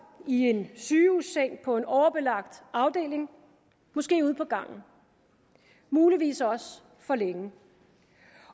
i en sygehusseng på en overbelagt afdeling måske ude på gangen muligvis også for længe